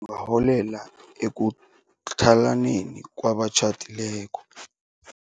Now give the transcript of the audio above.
arholela ekutlhalaneni kwabatjhadileko.